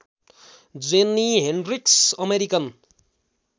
जेन्नी Hendricks American